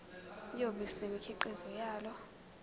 yobisi nemikhiqizo yalo